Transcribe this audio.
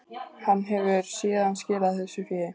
Hann hefur síðan skilað þessu fé